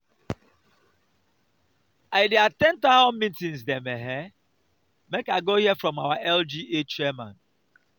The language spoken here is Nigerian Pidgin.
i dey at ten d townhall meeting dem um make i go hear from our lga chairman.